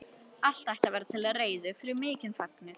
Allt ætti að vera til reiðu fyrir mikinn fögnuð.